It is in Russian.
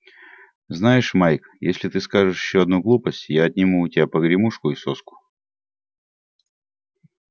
знаешь майк если ты скажешь ещё одну глупость я отниму у тебя погремушку и соску